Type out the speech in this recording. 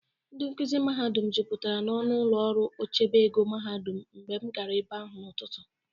Ndị nkụzị mahadum jụpụtara n'ọnụ ụlọ ọrụ ochebe ego mahadum mgbe m gara ebe ahụ n'ụtụtụ.